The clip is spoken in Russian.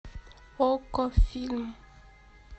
окко фильм